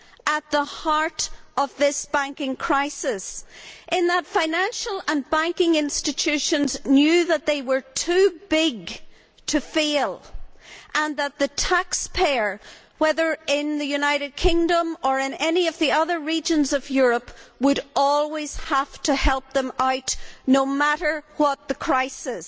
at the heart of this banking crisis in that financial and banking institutions knew that they were too big to fail and that the taxpayer, whether in the United Kingdom or in any of the other regions of Europe, would always have to help them out, no matter what the crisis.